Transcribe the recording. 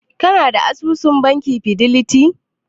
Kana da asusun bankin fideliti?